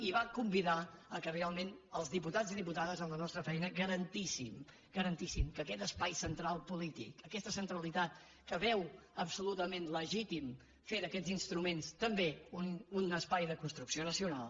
i va convidar que realment els diputats i diputades amb la nostra feina garantíssim garantíssim que aquest espai central polític aquesta centralitat que veu absolutament legítim fer d’aquests instruments també un espai de construcció nacional